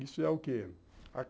Isso é o quê?